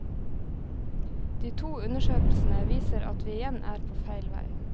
De to undersøkelsene viser at vi igjen er på feil vei.